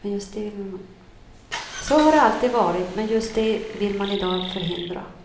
Så har det alltid varit, men just det vill man i dag förhindra.